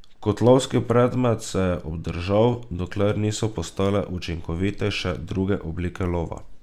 Kot lovski predmet se je obdržal, dokler niso postale učinkovitejše druge oblike lova.